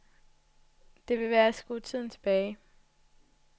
Det vil være at skrue tiden tilbage.